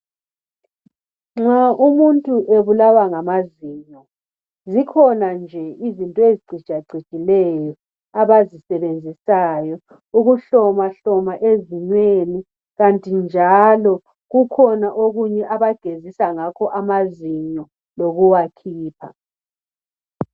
Nxa umuntu ebulawa ngamazinyo zikhona nje into eziqhitsha qhitshaleyo abazisebenzisayo ukuhloma hloma ezinyweni kanti njalo kukhona okunye abagezisa ngakho amazinyo lokuwakhipha